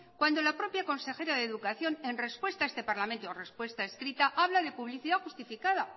cuando la propia consejera de educación en respuesta a este parlamento respuesta escrita habla de publicidad justificada